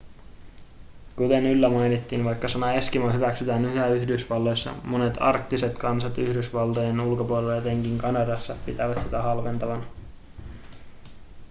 kuten yllä mainittiin vaikka sana eskimo hyväksytään yhä yhdysvalloissa monet arktiset kansat yhdysvaltojen ulkopuolella etenkin kanadassa pitävät sitä halventavana